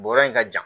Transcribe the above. Bɔrɔ in ka jan